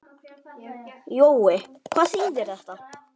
Jói, hvað þýðir þetta?